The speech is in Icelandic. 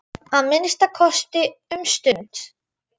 Að minnsta kosti um stund.